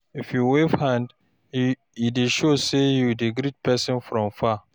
If you wave hand, e dey show sey you dey greet pesin from far.